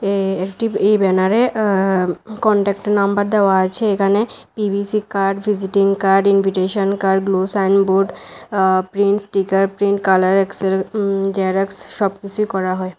এ একটি এ ব্যানারে এ্যাঁ কনট্যাক্ট নাম্বার দেওয়া আছে এখানে P V C card visiting card invitation card glow signboard এ প্রিন্টস স্টিকার প্রিন্ট কালার এক্স হু জেরক্স সবকিসুই করা হয়।